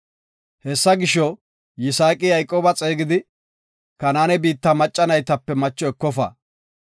Hessa gisho, Yisaaqi Yayqooba xeegidi, “Kanaane biitta macca naytape macho ekofa.